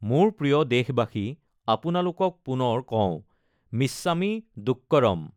মোৰ প্ৰিয় দেশবাসী, আপোনালোকক পুনৰ কওঁ, মিচ্ছামী দুক্কড়ম!